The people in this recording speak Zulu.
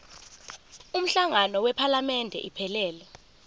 umhlangano wephalamende iphelele